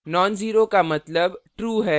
non zero का मतलब true है